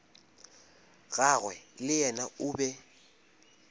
gagwe le yena o be